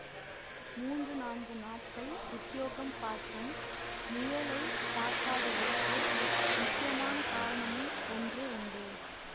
மூன்று நான்கு நாட்கள் உத்தியோகம் பார்த்தும் முயலை பார்க்காததற்கு முக்கியமான காரணமும் ஒன்று உண்டு